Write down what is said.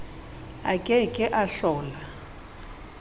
a ke ke a hlola